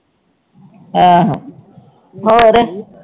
ਆਹੋ ਹੋਰ